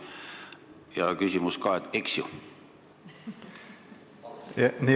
Ja küsimus ka: eks ju?